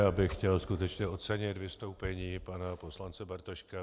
Já bych chtěl skutečně ocenit vystoupení pana poslance Bartoška.